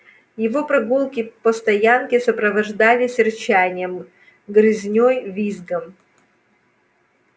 его прогулки по стоянке сопровождались рычанием грызней визгом